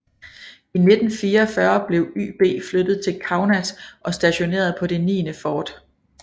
I 1944 blev YB flyttet til Kaunas og stationeret på det niende fort